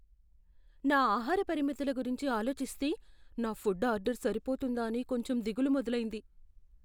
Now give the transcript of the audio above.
నా ఆహార పరిమితుల గురించి ఆలోచిస్తే, నా ఫుడ్ ఆర్డర్ సరిపోతుందా అని కొంచెం దిగులు మొదలైంది.